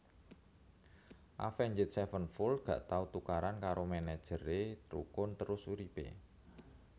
Avenged Sevenfold gak tau tukaran karo manajer e rukun terus urip e